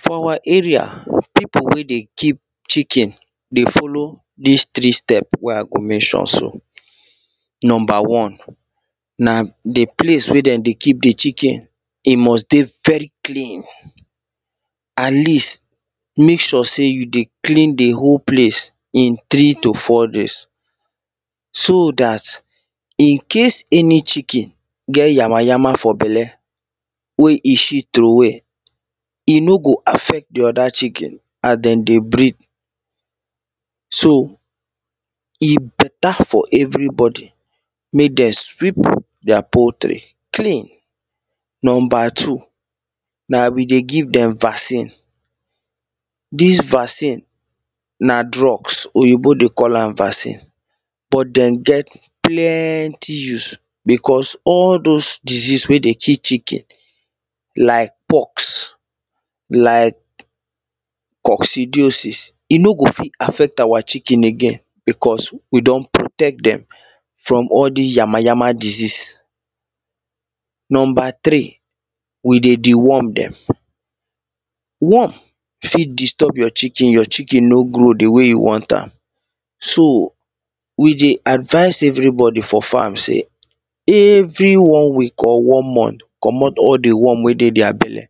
for our area people wey dey keep chicken dey follow this three step wey i go mention so number one na the place wey they dey keep the chicken e must dey very clean at least make sure say you dey clean the whole place in three to four days so that in case any chicken get yamayam for bele wey e shit troway e no go affect the other chicken as they dey breed so e better for everybody make they sweep their poultry clean number two na we dey give them vaccine this vaccine na drugs oyibo dey call am vaccine but them get plenty use because all those disease wey dey kill chicken like pox like coccidiosis e no go fit affect our chicken again because we do?n protect them from all this yamayama disease number three we dey deworm them worm fit disturb your chicken your chicken no grow the way you want am so we dey advise everybody for farm say every one week or one month comot all the worm wey dey their bele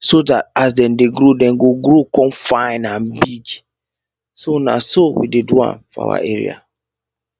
so that as they dey grow they go grow come fine and big so na so we dey do am for our area